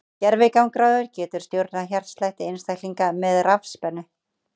Gervigangráður getur stjórnað hjartslætti einstaklinga með rafspennu.